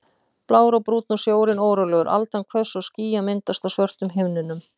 Blár og Brúnn og sjórinn órólegur, aldan hvöss og ský að myndast á svörtum himninum.